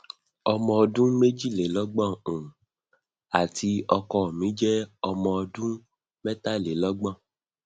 omo ọdún mejilelogbon um àti ọkọ mi je omo ọdún metalelogbon